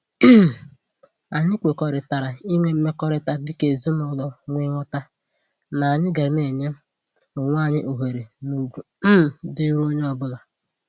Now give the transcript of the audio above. um Anyị kwekọrịtara inwe mmekọrịta dịka ezinụlọ nwee nghọta n'anyị ga na-enye onwe anyị ohere na ugwu um dịịrị onye onye ọbụla